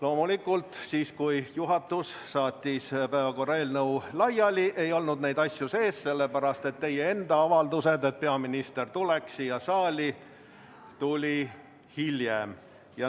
Loomulikult, kui juhatus saatis päevakorra eelnõu laiali, ei olnud neid asju sees, sest teie enda avaldus, et peaminister tuleks siia saali, tuli hiljem.